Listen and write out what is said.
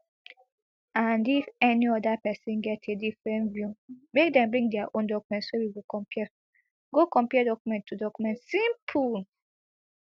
and if any oda pesin get a different view make dem bring dia own document so we go compare go compare document to document simple